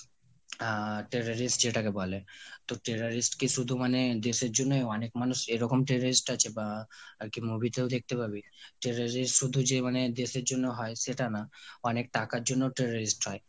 আহ terrorist যেটাকে বলে। তো terrorist কি মানে শুধু দেশের জন্য হয় অনেক মানুষ এরকম terrorist আছে বা আর কি movie তেও দেখতে পাবি। terrorist শুধু যে মানে দেশের জন্য হয় সেটা না অনেক টাকার জন্যও terrorist হয়।